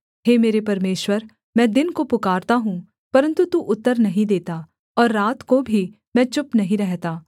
हे मेरे परमेश्वर मैं दिन को पुकारता हूँ परन्तु तू उत्तर नहीं देता और रात को भी मैं चुप नहीं रहता